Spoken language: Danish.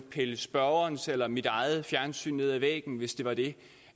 pillet spørgerens eller mit eget fjernsyn ned af væggen hvis det var det